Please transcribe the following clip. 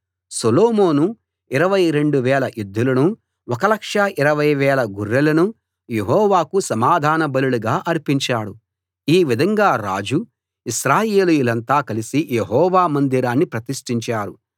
సొలొమోను 22000 ఎద్దులను 1 20000 గొర్రెలను యెహోవాకు సమాధాన బలులుగా అర్పించాడు ఈ విధంగా రాజు ఇశ్రాయేలీయులంతా కలిసి యెహోవా మందిరాన్ని ప్రతిష్టించారు